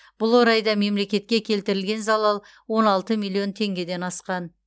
бұл орайда мемлекетке келтірілген залал он алты миллион теңгеден асқан